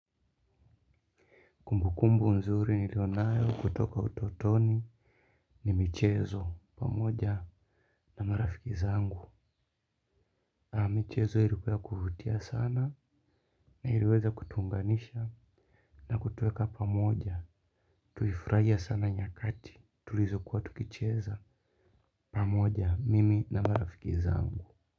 Kumbu kumbu nzuri niliyo nayo kutoka utotoni ni michezo pamoja na marafiki zangu. Michezo ilikuwa ya kuvutia sana na iliweza kutuunganisha na kutuweka pamoja. Tulifurahia sana nyakati tulizokuwa tukicheza pamoja mimi na marafiki zangu.